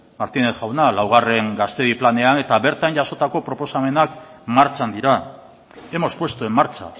martínez jauna laugarren gaztedi planean eta bertan jasotako proposamenak martxan dira hemos puesto en marcha